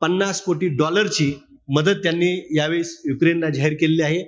पन्नास कोटी डॉलर ची मदत त्यांनी यावेळेस युक्रेनला जाहीर केलेली आहे.